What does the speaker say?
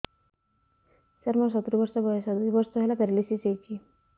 ସାର ମୋର ସତୂରୀ ବର୍ଷ ବୟସ ଦୁଇ ବର୍ଷ ହେଲା ପେରାଲିଶିଶ ହେଇଚି